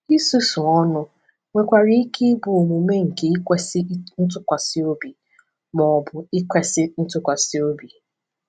Ịsusu ọnụ nwekwara ike ịbụ omume nke ikwesị ntụkwasị obi, ma ọ bụ ikwesị ntụkwasị obi.